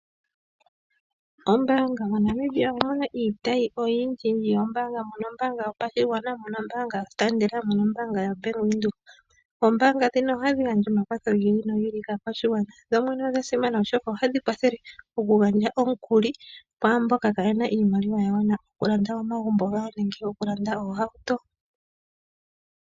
Ombaanga moNamibia omu na iitayi oyindji yombaanga. Omu na ombaanga yopashigwana, mu na ombaanga yositaandela, omu na ombaanga yoBank Windhoek. Oombaanga ndhino ohadhi gandja omakwatho gi ili nogi ili kaakwashigwana. Dho dhene odha simana oshoka ohadhi kwathele okugandja omukuli kwaamboka kaaye na iimaliwa ya gwana okulanda omagumbo gawo nenge okulanda moohauto.